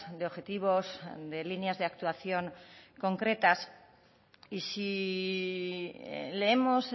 de objetivos de líneas de actuación concretas y sí leemos